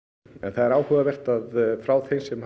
það er áhugavert að frá þeim sem